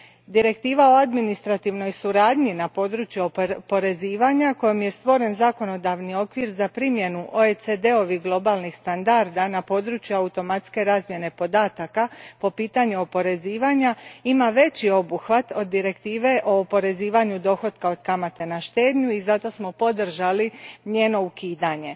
Direktiva o administrativnoj suradnji na području oporezivanja, kojom je stvoren zakonodavni okvir za primjenu OECD ovih globalnih standarda na području automatske razmjene podataka po pitanju oporezivanja, ima veći obuhvat od Direktive o oporezivanju dohotka od kamate na štednju i zato smo podržali njeno ukidanje.